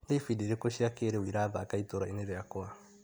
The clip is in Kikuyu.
Nĩ ibindi irĩkũ cĩa kĩrĩu irathaka itũra-inĩ rĩakwa ?